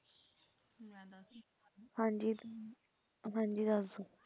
ਹਾਂ ਜੀ ਊਂ ਹਾਂ ਜੀ ਦੱਸਦੂ,